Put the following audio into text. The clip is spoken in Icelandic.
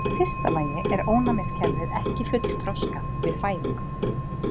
Í fyrsta lagi er ónæmiskerfið ekki fullþroskað við fæðingu.